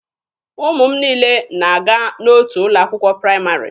Ụmụ m niile na-aga n'otu ụlọ akwụkwọ praịmarị.